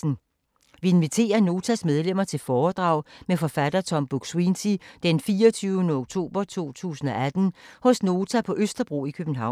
Vi inviterer Notas medlemmer til foredrag med forfatter Tom Buk-Swienty den 24. oktober 2018 hos Nota på Østerbro i København.